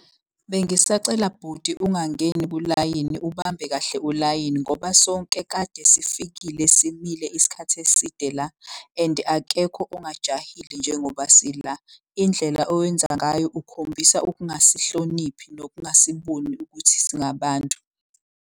Bengisacela bhuti ungangeni kulayini ubambe kahle ulayini ngoba sonke kade sifikile simile isikhathi eside la. And akekho ongajahile njengoba sila. Indlela owenza ngayo ukhombisa okungasihloniphi nokungasiboni ukuthi singabantu.